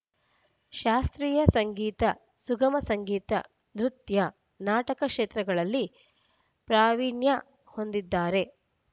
ಶಾಸ್ತ್ರೀಯ ಸಂಗೀತ ಸುಗಮ ಸಂಗೀತ ನೃತ್ಯ ನಾಟಕ ಕ್ಷೇತ್ರದಲ್ಲಿ ಪ್ರಾವೀಣ್ಯ ಹೊಂದಿದ್ದಾರೆ